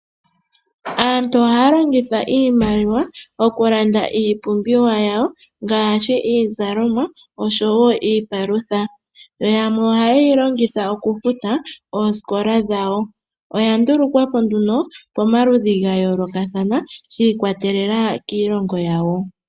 Aantu ohaya longitha iimaliwa oku landa iipumbiwa yawo ngashi iizalomwa oshowo iipalutha, yo yamwe ohaye yilongitha oku futa ooskola dhawo. Oya ndulukwapo nduno pamaludhi ga yolokathana shi ikwatelela kiilongo yawo.